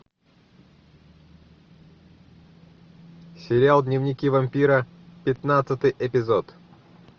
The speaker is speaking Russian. сериал дневники вампира пятнадцатый эпизод